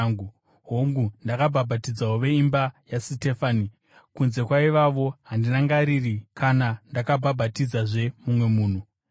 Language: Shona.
Hongu, ndakabhabhatidzawo veimba yaStefanasi; kunze kwaivavo, handirangariri kana ndakabhabhatidzazve mumwe munhu.